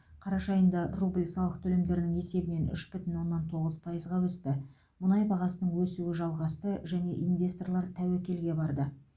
қараша айында рубль салық төлемдерінің есебінен үш бүтін оннан тоғыз пайызға өсті мұнай бағасының өсуі жалғасты және инвесторлар тәуекелге барды